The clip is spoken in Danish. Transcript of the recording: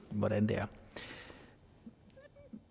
hvordan det er